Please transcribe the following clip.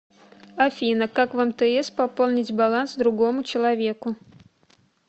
афина как в мтс пополнить баланс другому человеку